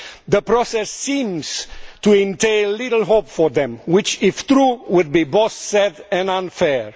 the process seems to entail little hope for them which, if true, would be both sad and unfair.